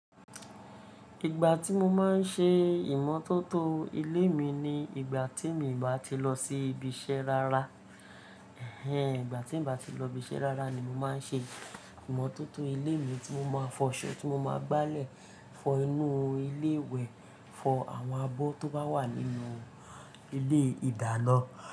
Ìgbà tí mo máa ń ṣe ìmọ́tótó ilé mi ni ìgbà tí mi ò bá ti lọ sí ibi iṣẹ́ rara. Ehen, ìgbà tí n bá ti lọ ibi iṣẹ́ rara ni mo máa ń ṣe ìmọ́tótó ilé mi tí mo máa fọ ṣọ tí mo máa gbálẹ̀ fọ inú ilé ìwẹ̀, fọ àwọn abọ́ tó bá wà nínú ilé ìdáná.